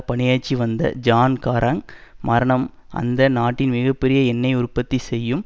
பணியாற்றி வந்த John Garang மரணம் அந்த நாட்டின் மிக பெரிய எண்ணெய் உற்பத்தி செய்யும்